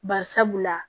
Bari sabula